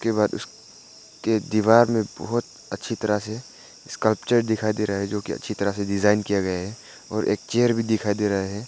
दीवार में बहुत अच्छी तरह से इसका दिखाई दे रहा है जो की अच्छी तरह से डिजाइन किया गया हैं और एक चेयर भी दिखाई दे रहा है।